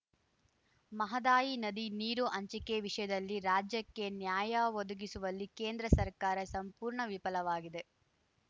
ಮಹದಾಯಿ ನದಿ ನೀರು ಹಂಚಿಕೆ ವಿಷಯದಲ್ಲಿ ರಾಜ್ಯಕ್ಕೆ ನ್ಯಾಯ ಒದಗಿಸುವಲ್ಲಿ ಕೇಂದ್ರ ಸರ್ಕಾರ ಸಂಪೂರ್ಣ ವಿಫಲವಾಗಿದೆ